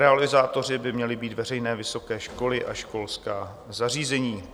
Realizátory by měli být veřejné vysoké školy a školská zařízení.